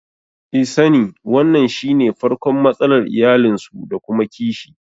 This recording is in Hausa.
I sani wannan shine farkon matsalar iyalinsu da kuma kishi